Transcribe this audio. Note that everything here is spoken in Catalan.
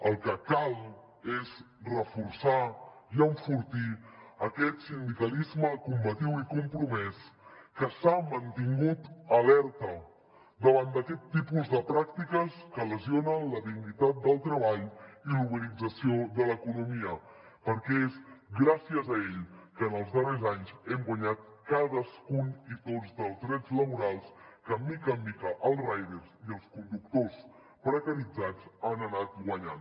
el que cal és reforçar i enfortir aquest sindicalisme combatiu i compromès que s’ha mantingut alerta davant d’aquest tipus de pràctiques que lesionen la dignitat del treball i la uberització de l’economia perquè és gràcies a ell que en els darrers anys hem guanyat cadascun i tots els drets laborals que de mica en mica els riders i els conductors precaritzats han anat guanyant